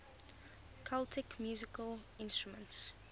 celtic musical instruments